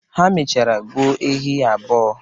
Ha mechara gbuo ehi abụọ.